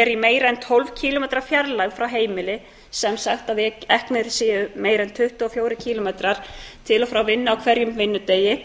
er í meira en tólf kílómetra fjarlægð frá heimili sem sagt að eknir séu meira en tuttugu og fjórir kílómetrar í og frá vinnu á hverjum vinnudegi